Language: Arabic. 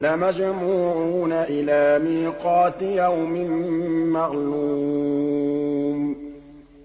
لَمَجْمُوعُونَ إِلَىٰ مِيقَاتِ يَوْمٍ مَّعْلُومٍ